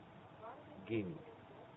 гений